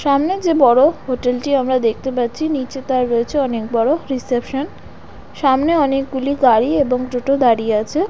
সামনে যে বড় হোটেল -টি আমরা দেখতে পাচ্ছি নিচে তার রয়েছে অনেক বড় রিসেপশন সামনে অনেকগুলি গাড়ি এবং টোটো দাঁড়িয়ে আছে।